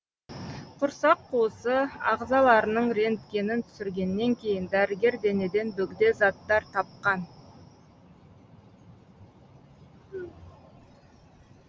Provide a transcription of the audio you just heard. құрсақ қуысы ағзаларының рентгенін түсіргеннен кейін дәрігер денеден бөгде заттар тапқан